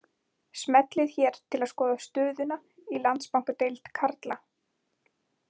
Smellið hér til að skoða stöðuna í Landsbankadeild karla